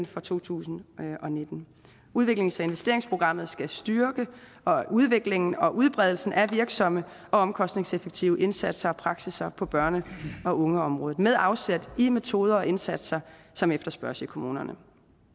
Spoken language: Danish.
for to tusind og nitten udviklings og investeringsprogrammet skal styrke udviklingen og udbredelsen af virksomme og omkostningseffektive indsatser og praksisser på børn og unge området med afsæt i metoder og indsatser som efterspørges i kommunerne